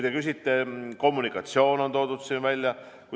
Ka kommunikatsioon on siin kirjas.